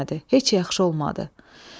Heç yaxşı olmadı.